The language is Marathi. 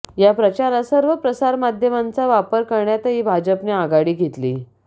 या प्रचारात सर्व प्रसारमाध्यमांचा वापर करण्यातही भाजपने आघाडी घेतली